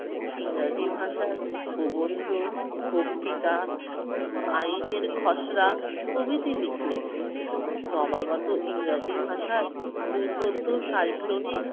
ইংরেজি ভাষায় প্রবন্ধ, বক্তৃতা, আইনের খসরা প্রভৃতি লিখলেন। নবাগত ইংরেজি ভাষায় দুর্বোধ্য সাইক্লোনের